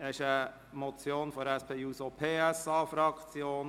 Es ist eine Motion der SP-JUSO-PSA-Fraktion.